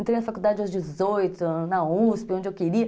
Entrei na faculdade aos dezoito, na uspe, onde eu queria.